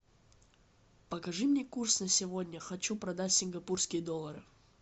покажи мне курс на сегодня хочу продать сингапурские доллары